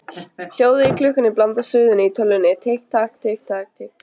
Hljóðið í klukkunni blandast suðinu í tölvunni: Tikk takk, tikk takk, tikk takk.